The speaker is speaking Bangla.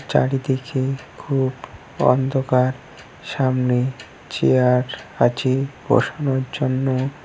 চারিদিকে খুব অন্ধকার সামনে চেয়ার আছে বসানোর জন্য।